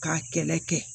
K'a kɛlɛ kɛ